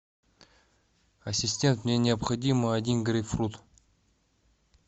ассистент мне необходимо один грейпфрут